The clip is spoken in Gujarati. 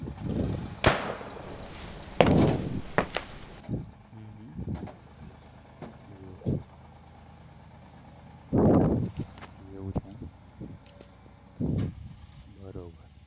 હમ હમ એવું એવું છે એમ બરોબર